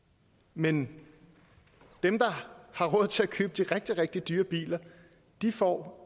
men dem der har råd til at købe de rigtig rigtig dyre biler får